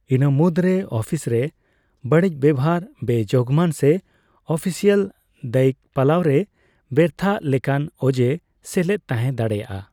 ᱤᱱᱟᱹ ᱢᱩᱫᱨᱮ ᱚᱯᱷᱤᱥ ᱨᱮ ᱵᱟᱹᱲᱤᱡ ᱵᱮᱣᱦᱟᱨ, ᱵᱮᱼᱡᱳᱜᱢᱟᱱ ᱥᱮ ᱚᱯᱷᱤᱥᱤᱭᱟᱞ ᱫᱟᱹᱭᱤᱠ ᱯᱟᱞᱟᱣ ᱨᱮ ᱵᱮᱨᱛᱷᱟᱜ ᱞᱮᱠᱟᱱ ᱚᱡᱮ ᱥᱮᱞᱮᱫ ᱛᱟᱸᱦᱮ ᱫᱟᱲᱮᱭᱟᱜᱼᱟ ᱾